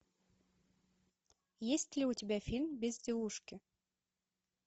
есть ли у тебя фильм безделушки